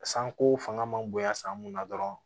Sanko fanga man bonya san mun na dɔrɔn